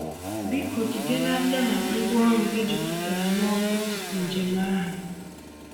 Biko jide n’aka na ngwaọrụ gị juputara n’ọkụ tupu njem ahụ.